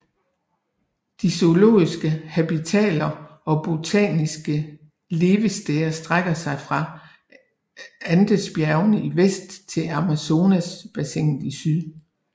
De zoologiske habitater og botaniske levesteder strækker sig fra Andesbjergene i vest til Amazonbassinet i syd